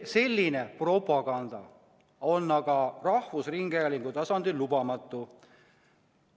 Selline propaganda on aga rahvusringhäälingu tasandil lubamatu.